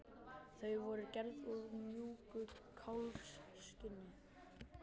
Þau voru gerð úr mjúku kálfskinni.